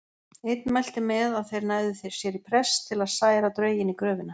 Einn mælti með að þeir næðu sér í prest til að særa drauginn í gröfina.